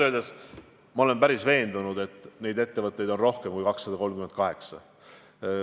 Ausalt öeldes ma olen päris veendunud, et neid ettevõtteid on rohkem kui 238.